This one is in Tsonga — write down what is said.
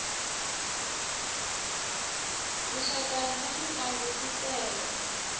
tinxaka ta mintlangu t tele